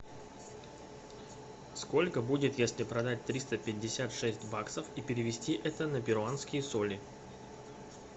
сколько будет если продать триста пятьдесят шесть баксов и перевести это на перуанские соли